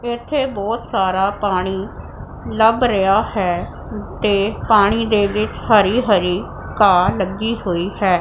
ਇੱਥੇ ਬਹੁਤ ਸਾਰਾ ਪਾਣੀ ਲੱਭ ਰਿਹਾ ਹੈ ਤੇ ਪਾਣੀ ਦੇ ਵਿੱਚ ਹਰੀ ਹਰੀ ਘਾਹ ਲੱਗੀ ਹੋਈ ਹੈ।